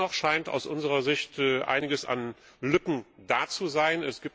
Dennoch scheint aus unserer Sicht einiges an Lücken da zu sein.